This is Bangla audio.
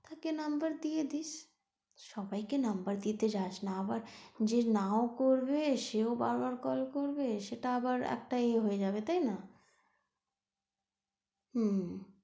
তাকে number দিয়ে দিস, সবাইকে number দিতে যাসনা আবার যে নাও করবে সেও বারবার call করবে তা আবার একটা এ হয়ে যাবে তাইনা? হুম।